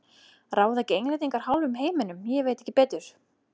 Ráða ekki Englendingar hálfum heiminum, ég veit ekki betur.